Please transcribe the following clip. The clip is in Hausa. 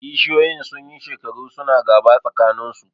Kishiyoyin sun yi shekaru su na gaba tsakaninsu